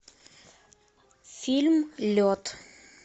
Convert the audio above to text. фильм лед